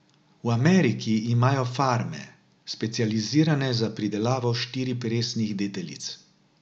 V Ameriki imajo farme, specializirane za pridelavo štiriperesnih deteljic.